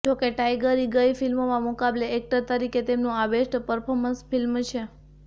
જો કે ટાઈગરી ગઈ ફિલ્મોના મુકાબલે એક્ટર તરીતે તેમનુ આ બેસ્ટ પર્ફોર્મન્સ ફિલ્મ છે